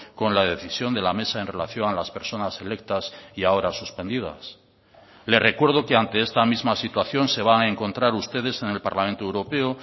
con la decisión de la mesa en relación a las personas electas y ahora suspendidas le recuerdo que ante esta misma situación se van a encontrar ustedes en el parlamento europeo